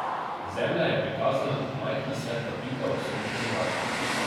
Zemlja je prikazana kot majhna svetla pika v sončnem žarku.